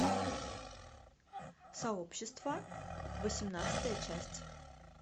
сообщество восемнадцатая часть